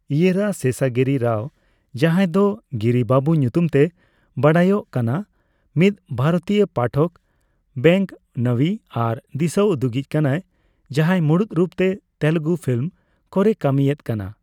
ᱤᱭᱮᱨᱟ ᱥᱮᱥᱟᱜᱤᱨᱤ ᱨᱟᱣ, ᱡᱟᱦᱟᱸᱭ ᱫᱚ ᱜᱤᱨᱤ ᱵᱟᱹᱵᱩ ᱧᱩᱛᱩᱢ ᱛᱮᱭ ᱵᱟᱰᱟᱭᱚᱜ ᱠᱟᱱᱟ, ᱢᱤᱫ ᱵᱷᱟᱨᱚᱛᱤᱭᱚ, ᱯᱟᱴᱷᱚᱠ, ᱵᱮᱱᱜᱼᱱᱟᱣᱤ ᱟᱨ ᱫᱤᱥᱟᱹᱩᱫᱩᱜᱤᱡ ᱠᱟᱱᱟᱭ ᱡᱟᱦᱟᱸᱭ ᱢᱩᱬᱩᱛ ᱨᱩᱯ ᱛᱮ ᱛᱮᱞᱜᱩ ᱯᱷᱤᱞᱤᱢ ᱠᱚᱨᱮ ᱠᱟᱹᱢᱤ ᱮᱫ ᱠᱟᱱᱟ ᱾